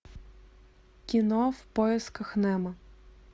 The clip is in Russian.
кино в поисках немо